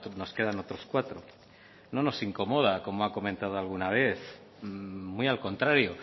nos quedan otros cuatro no nos incomoda como ha comentado alguna vez muy al contrario